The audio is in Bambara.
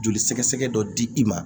Joli sɛgɛsɛgɛ dɔ di i ma